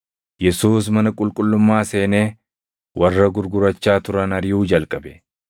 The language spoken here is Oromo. Yesuus mana qulqullummaa seenee warra gurgurachaa turan ariʼuu jalqabe.